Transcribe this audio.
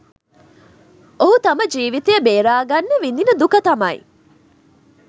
ඔහු තම ජීවිතය බේරා ගන්න විඳින දුක තමයි